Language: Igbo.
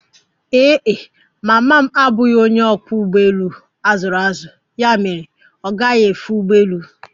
Ee e, mama m abụghị onye ọkwọ ụgbọelu a zụrụ azụ ya mere ọ gaghi efe ụgbọelu